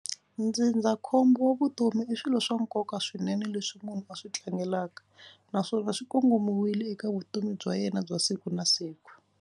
Ndzindzakhombo wa vutomi i swilo swa nkoka swinene leswi munhu a swi tlangelaka naswona swi kongomiwile eka vutomi bya yena bya siku na siku.